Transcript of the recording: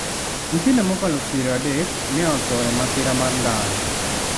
Nyithindo mokalo 30 ne otho e masira mar ndara